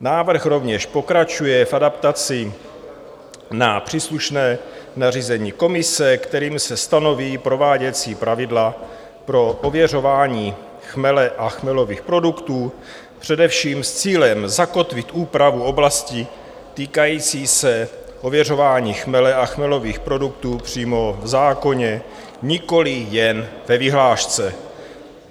Návrh rovněž pokračuje v adaptaci na příslušné nařízení komise, kterým se stanoví prováděcí pravidla pro prověřování chmele a chmelových produktů, především s cílem zakotvit úpravu oblasti týkající se ověřování chmele a chmelových produktů přímo v zákoně, nikoliv jen ve vyhlášce.